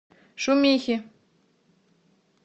шумихи